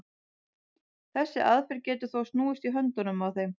þessi aðferð getur þó snúist í höndunum á þeim